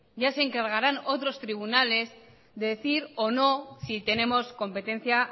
ya se encargaran otros tribunales de decir o no si tenemos competencia